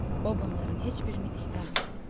O bunların heç birini istəmirdi.